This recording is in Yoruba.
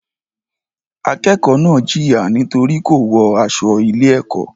Akẹ́kọ̀ọ́ náà jìyà nítorí kò wọ aṣọ ilé-ẹ̀kọ́.